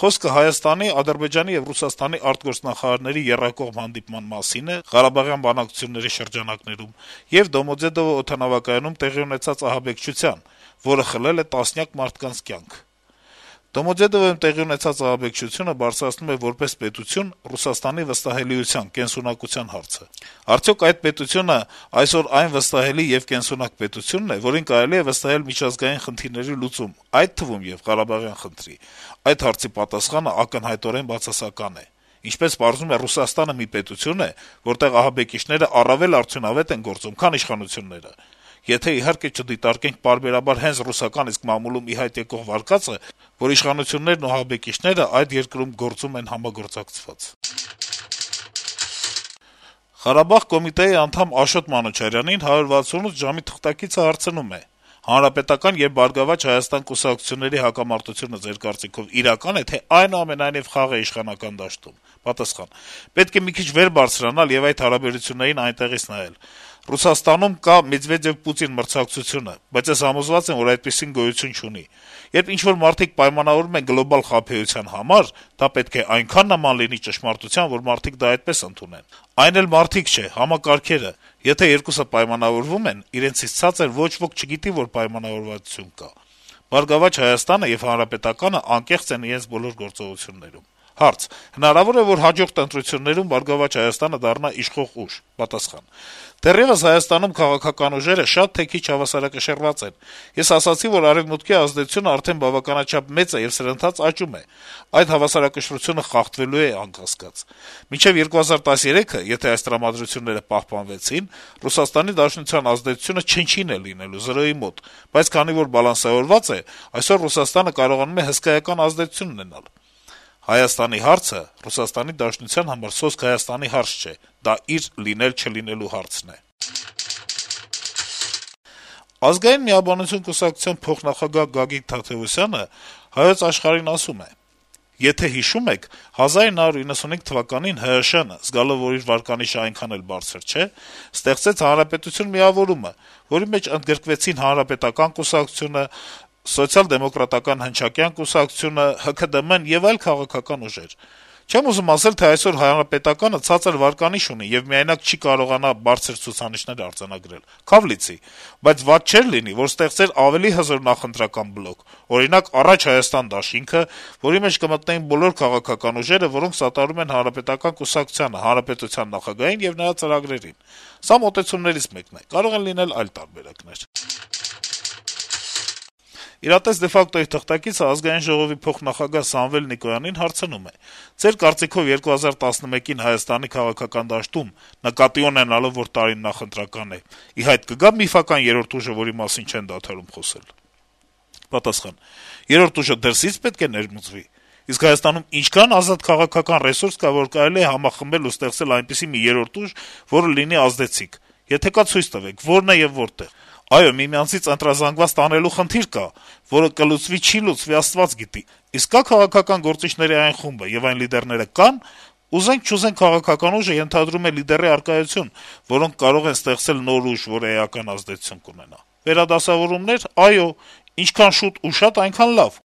Խոսքը Հայաստանի, Ադրբեջանի եւ Ռուսաստանի արտգործնախարարների եռակողմ հանդիպման մասին է` ղարաբաղյան բանակցությունների շրջանակում, եւ Դոմոդեդովո օդանավակայանում տեղի ունեցած ահաբեկության, որը խլել է տասնյակ մարդկանց կյանքեր: Դոմոդեդովոյում տեղի ունեցած ահաբեկչությունը բարձրացնում է որպես պետություն Ռուսաստանի վստահելիության, կենսունակության հարցը: Արդյո՞ք այդ պետությունն այսօր վստահելի եւ կենսունակ պետություն է, որին կարելի է վստահել միջազգային խնդիրների լուծում, այդ թվում` եւ ղարաբաղյան խնդրի: Այդ հարցի պատասխանն ակնհայտորեն բացասական է: Ինչպես պարզվում է, Ռուսաստանը մի պետություն է, որտեղ ահաբեկիչներն առավել արդյունավետ են գործում, քան իշխանությունները, եթե իհարկե չդիտարկենք պարբերաբար հենց ռուսական իսկ մամուլում ի հայտ եկող վարկածը, որ իշխանություններն ու ահաբեկիչներն այդ երկրում գործում են համագործակցված»: «Ղարաբաղ» կոմիտեի նախկին անդամ Աշոտ Մանուչարյանին «168 ժամ»-ի թղթակիցը հարցնում է. - «Հանրապետական եւ «Բարգավաճ Հայաստան» կուսակցությունների հակամարտությունը, Ձեր կարծիքով, իրակա՞ն է, թե՞ դա այնուամենայնիվ խաղ է իշխանական դաշտում»: Մանուչարյանը պատասխանում է. - «Պետք է մի քիչ վեր բարձրանալ եւ այդ հարաբերություններին այնտեղից նայել: Ռուսաստանում կա Մեդվեդեւ-Պուտին մրցակցությունը, բայց ես համոզված եմ, որ այդպիսին գոյություն չունի: Երբ ինչ-որ մարդիկ պայմանավորվում են գլոբալ խաբեության համար, դա պետք է այնքան նման լինի ճշմարտությանը, որ մարդիկ դա այդպես ընդունեն: Այն էլ մարդիկ չէ, համակարգերը: Եթե երկուսը պայմանավորվում են, իրենցից ցածր ոչ ոք չգիտի, որ պայմանավորվածություն կա: ԲՀԿ-ն եւ ՀՀԿ-ն անկեղծ են իրենց բոլոր գործողությունների մեջ»: Հարցին, թե հնարավո՞ր է, որ հաջորդ ընտրություններին ԲՀԿ-ն դառնա իշխող ուժ, Աշոտ Մանուչարյանը արձագանքում է. - «Դեռեւս ՀՀ-ում քաղաքական ուժերը շատ թե քիչ հավասարակշռված են: Ես ասացի, որ Արեւմուտքի ազդեցությունն արդեն բավականաչափ մեծ է եւ սրընթաց աճում է: Այդ հավասարակշռությունը խախտվելու է անկասկած: Մինչեւ 2013-ը եթե այս տրամադրությունները պահպանվեցին, ՌԴ-ի ազդեցությունը չնչին է լինելու, զրոյին մոտ: Բայց քանի որ բալանսավորված է, այսօր ՌԴ-ն կարողանում է հսկայական ազդեցություն ունենալ: Հայաստանի հարցը ՌԴ-ի համար սոսկ Հայաստանի հարց չէ: Դա իր լինել-չլինելու հարցն է»: «Ազգային միաբանություն» կուսակցության փոխնախագահ Գագիկ Թադեւոսյանը «Հայոց Աշխարհ»-ին ասում է. - «Եթե հիշում եք, 1995 թվականին ՀՀՇ-ն, զգալով, որ իր վարկանիշն այնքան էլ բարձր չէ, ստեղծեց «Հանրապետություն» միավորումը, որի մեջ ընդգրկվեցին Հանրապետական կուսակցությունը, ՍԴՀԿ-ն, ՀՔԴՄ-ն եւ այլ քաղաքական ուժեր։ Չեմ ուզում ասել, թե այսօր Հանրապետականը ցածր վարկանիշ ունի եւ միայնակ չի կարողանա բարձր ցուցանիշներ արձանագրել։ Քա՛վ լիցի։ Բայց վատ չէր լինի, որ ստեղծվեր ավելի հզոր նախընտրական բլոկ, օրինակ, «Առաջ, Հայաստան» դաշինք, որի մեջ մտնեն բոլոր քաղաքական ուժերը, որոնք սատարում են Հանրապետական կուսակցությանը, հանրապետության նախագահին եւ նրա ծրագրերին։ Սա մոտեցումներից մեկն է։ Կարող են լինել այլ տարբերակներ»: «Իրատես de facto»-ի թղթակիցը Ազգային ժողովի փոխնախագահ Սամվել Նիկոյանին հարցնում է. - «Ձեր կարծիքով` 2011 թվականին Հայաստանի քաղաքական դաշտում, նկատի ունենալով, որ տարին նախընտրական է, ի՞նչ վերադասավորումներ են հնարավոր, արդյոք ի հայտ կգա՞ միֆական երրորդ ուժը, որի մասին չեն դադարում խոսել»: Նիկոյանի պատասխանը. - «Երրորդ ուժը դրսի՞ց պետք է ներմուծվի… Իսկ Հայաստանում ինչքա՞ն ազատ քաղաքական ռեսուրս կա, որ կարելի է համախմբել ու ստեղծել այնպիսի մի երրորդ ուժ, որը լինի ազդեցիկ: Եթե կա, ցույց տվեք` ո՞րն է ու որտե՞ղ է: Այո, միմյանցից ընտրազանգված տանելու խնդիր կա, որը կլուծվի-չի լուծվի, Աստված գիտի: Իսկ կա՞ քաղաքական գործիչների այն խումբը, եւ այն լիդերները կա՞ն, ուզենք-չուզենք, քաղաքական ուժը ենթադրում է լիդերի առկայություն, որոնք կարող են ստեղծել նոր ուժ, որը էական ազդեցություն ունենա: Վերադասավորումնե՞ր` այո, ինչքան շուտ ու շատ, այնքան լավ»: